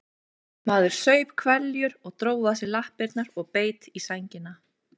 Maður saup hveljur og dró að sér lappirnar og beit í sængina.